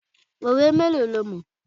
Òwe mélòó ló wà?